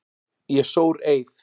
Ég sór eið.